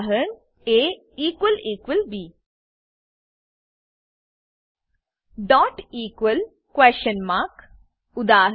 ab dot equal question mark dot equals question mark ઉદા